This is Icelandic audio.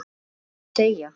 Já, og deyja